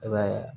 I b'a ye